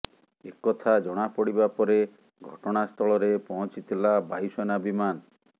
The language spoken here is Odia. ଏକଥା ଜଣା ପଡ଼ିବା ପରେ ଘଟଣାସ୍ଥଳରେ ପହଞ୍ଚିଥିଲା ବାୟୁସେନା ବିମାନ